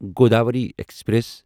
Godavari express